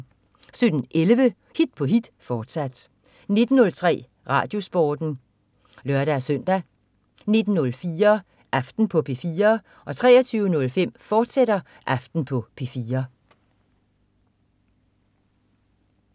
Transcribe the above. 17.11 Hit på hit, fortsat 19.03 RadioSporten (lør-søn) 19.04 Aften på P4 23.05 Aften på P4, fortsat